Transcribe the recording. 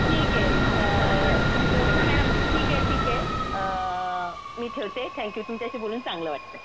ठीके अअ जोत्स्ना मॅडम, ठीके ठीके अअ मी ठेवते थँक यू तुमच्याशी बोलून चांगलं वाटलं.